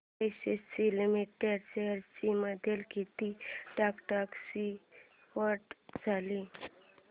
ACC limited shares मध्ये किती टक्क्यांची वाढ झाली